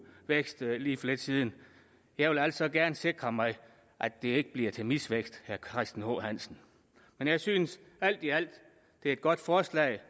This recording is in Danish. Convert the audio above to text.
vækst lige for lidt siden jeg vil altså gerne sikre mig at det ikke bliver til misvækst herre christian h hansen men jeg synes alt i alt at det er et godt forslag